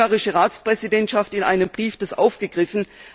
Nun hat die ungarische Ratspräsidentschaft dies in einem Brief aufgegriffen.